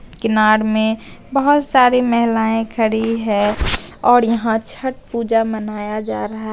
किनार में बहोत सारी महिलाएं खड़ी है और यहां छठ पूजा मनाया जा रहा--